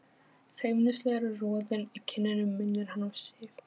Feimnislegur roðinn í kinnunum minnir hann á Sif.